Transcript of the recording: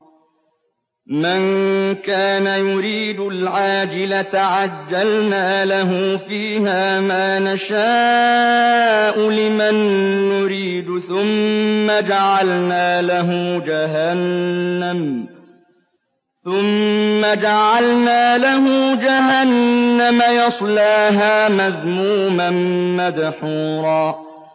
مَّن كَانَ يُرِيدُ الْعَاجِلَةَ عَجَّلْنَا لَهُ فِيهَا مَا نَشَاءُ لِمَن نُّرِيدُ ثُمَّ جَعَلْنَا لَهُ جَهَنَّمَ يَصْلَاهَا مَذْمُومًا مَّدْحُورًا